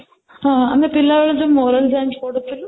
ହଁ, ଆମେ ପିଲା ବେଳେ moral Jain ପଢ଼ୁଥିଲୁ